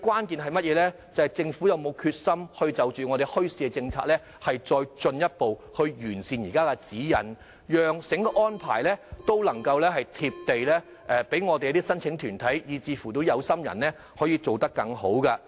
便是政府有否決心進一步完善現時的墟市政策指引，讓整個安排能夠"貼地"，讓申請團體和有心人可做得更好。